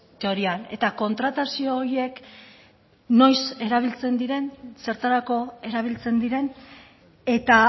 teorian eta kontratazio horiek noiz erabiltzen diren zertarako erabiltzen diren eta